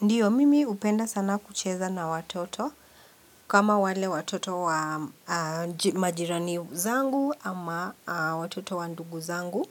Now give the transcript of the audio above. Ndio, mimi hupenda sana kucheza na watoto, kama wale watoto majirani zangu ama watoto wa ndugu zangu.